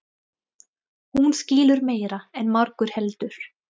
Hún skilur meira en margur heldur.